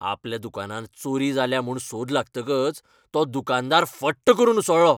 आपल्या दुकानांत चोरी जाल्या म्हूण सोद लागतकच तो दुकानदार फट्ट करून उसळ्ळो.